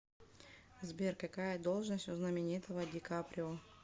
сбер какая должность у знаменитого ди каприо